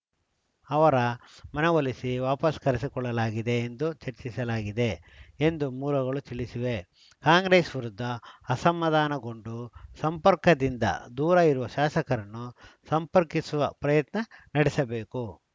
ಅವರ ಮನವೊಲಿಸಿ ವಾಪಸ್‌ ಕರೆಸಿಕೊಳ್ಳಲಾ ಗಿದೆ ಎಂದು ಚರ್ಚಿಸಲಾಗಿದೆ ಎಂದು ಮೂಲಗಳು ತಿಳಿಸಿವೆ ಕಾಂಗ್ರೆಸ್‌ ವಿರುದ್ಧ ಅಸಮಾಧಾನಗೊಂಡು ಸಂಪರ್ಕದಿಂದ ದೂರ ಇರುವ ಶಾಸಕರನ್ನು ಸಂಪರ್ಕಿಸುವ ಪ್ರಯತ್ನ ನಡೆಸಬೇಕು